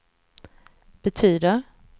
betyder